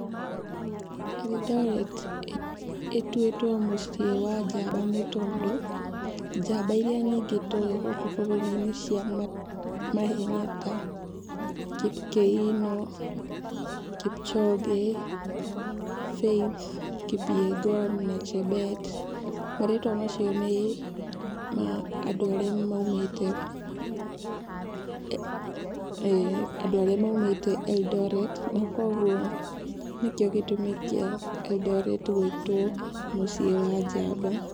Eldoret ĩtuwĩtwo mũciĩ wa njamba nĩ tondũ, njamba ĩrĩa nyingĩ tũĩ gũkũ bũrũri -inĩ cia mahenya ta Kipkĩino, Kipchoge, Faith kipegon na chebet marĩtwa macio nĩma andũ arĩa maumĩte, andũ arĩa maumĩte Eldoret, na koguo nĩkĩo gĩtũmi kĩa Eldoret gũwĩtwo mũciĩ wa njamba.